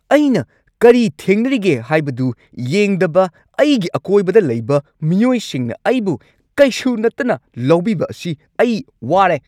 ꯑꯩꯅ ꯀꯔꯤ ꯊꯦꯡꯅꯔꯤꯒꯦ ꯍꯥꯏꯕꯗꯨ ꯌꯦꯡꯗꯕ ꯑꯩꯒꯤ ꯑꯀꯣꯏꯕꯗ ꯂꯩꯕ ꯃꯤꯑꯣꯏꯁꯤꯡꯅ ꯑꯩꯕꯨ ꯀꯩꯁꯨ ꯅꯠꯇꯅ ꯂꯧꯕꯤꯕ ꯑꯁꯤ ꯑꯩ ꯋꯥꯔꯦ꯫